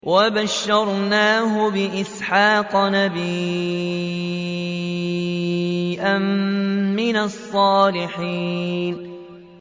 وَبَشَّرْنَاهُ بِإِسْحَاقَ نَبِيًّا مِّنَ الصَّالِحِينَ